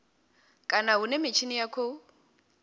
kana hune mitshini ya khou